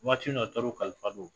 Waatinin a taar'u kalifa don